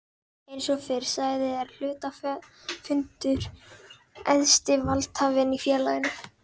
Eins og fyrr sagði er hluthafafundur æðsti valdhafinn í félaginu.